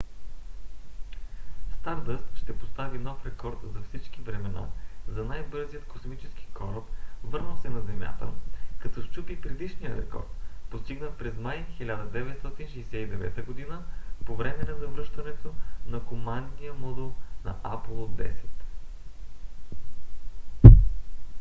стардъст ще постави нов рекорд за всички времена за най-бързият космически кораб върнал се на земята като счупи предишния рекорд постигнат през май 1969 г. по време на завръщането на командния модул на аполо x